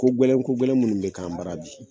Ko gɛlɛn ko gɛlɛn minnu bɛ k'an bara bi,